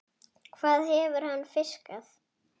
Hvað hefur hann fiskað?